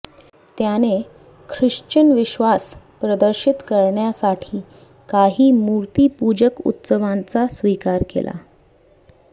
त्याने ख्रिश्चन विश्वास प्रदर्शित करण्यासाठी काही मूर्तिपूजक उत्सवांचा स्वीकार केला